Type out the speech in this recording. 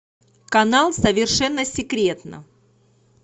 канал совершенно секретно